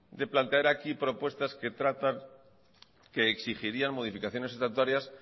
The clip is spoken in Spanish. de plantear aquí propuestas que exigirían modificaciones estatutarias